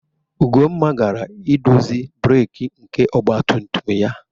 Ugonna gara idozi breeki nke ọgba tum tum ya.